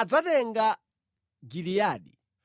adzatenga Giliyadi.